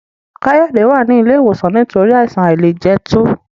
Kayode wá ní ilé ìwòsan nítorí Àìsàn àìlẹjẹtó